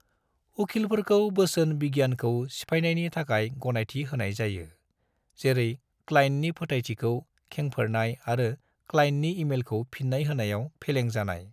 उखिलफोरखौ बोसोन बिगियानखौ सिफायनायनि थाखाय गनायथि होनाय जायो , जेरै क्लाइन्टनि फोथायथिखौ खेंफोरनाय आरो क्लाइन्टनि ईमेलखौ फिन्नाय होनायाव फेलें जानाय।